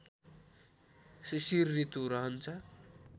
शिशिर ऋतु रहन्छ